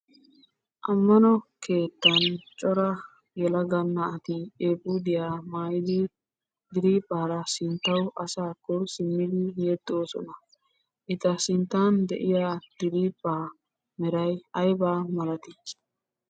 Ammano keetan cora yelaga naati eefuudiya mayidi diriiphphaara sinttawu asaakko simmidi yexxoosona. Eta sinttan de'iya diriphphaa meray ayimalee?